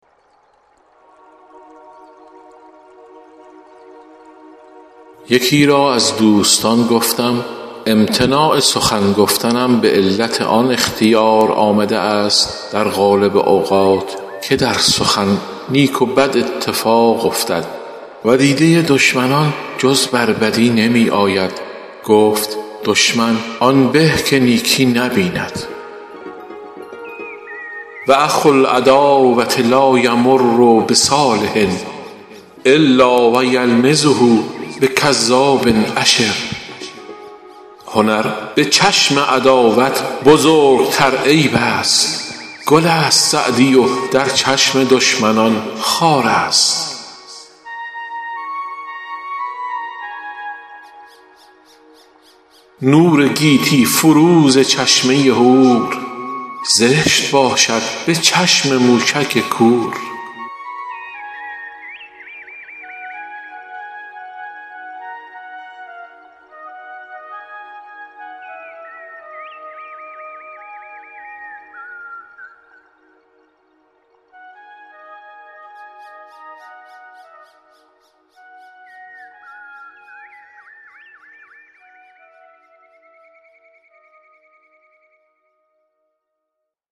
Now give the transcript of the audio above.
یکی را از دوستان گفتم امتناع سخن گفتنم به علت آن اختیار آمده است در غالب اوقات که در سخن نیک و بد اتفاق افتد و دیده دشمنان جز بر بدی نمی آید گفت دشمن آن به که نیکی نبیند و اخو العداوة لا یمر بصالح الا و یلمزه بکذاب اشر هنر به چشم عداوت بزرگتر عیب است گل است سعدی و در چشم دشمنان خار است نور گیتی فروز چشمه هور زشت باشد به چشم موشک کور